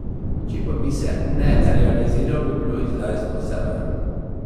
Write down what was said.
Če pa bi ne realiziral bi bilo izdajstvo sebe.